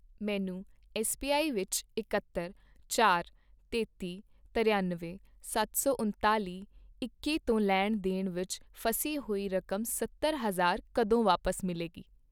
ਮੈਨੂੰ ਐੱਸਬੀਆਈ ਵਿੱਚ ਇਕੱਤਰ, ਚਾਰ, ਤੇਤੀ, ਤਰਿਅਨਵੇਂ, ਸੱਤ ਸੌ ਉਨਤਾਲੀ, ਇੱਕੀ ਤੋਂ ਲੈਣ ਦੇਣ ਵਿੱਚ ਫਸੀ ਹੋਈ ਰਕਮ ਸੱਤਰ ਹਜ਼ਾਰ ਕਦੋਂ ਵਾਪਸ ਮਿਲੇਗੀ?